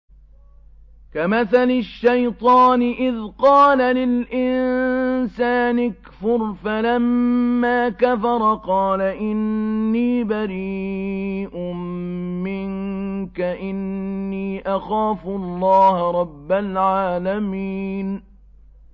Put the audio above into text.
كَمَثَلِ الشَّيْطَانِ إِذْ قَالَ لِلْإِنسَانِ اكْفُرْ فَلَمَّا كَفَرَ قَالَ إِنِّي بَرِيءٌ مِّنكَ إِنِّي أَخَافُ اللَّهَ رَبَّ الْعَالَمِينَ